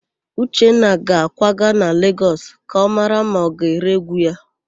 Uchenna ga-akwaga na Legọs ka ọ mara ma ọ ga-ere égwú ya.